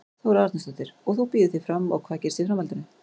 Þóra Arnórsdóttir: Og þú býður þig fram og hvað gerist í framhaldinu?